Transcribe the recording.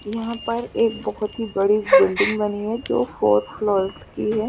यहाँ पर एक बहोत ही बड़ी बिल्डिंग बनी हुई है जो फोर्थ फ्लोर कि है।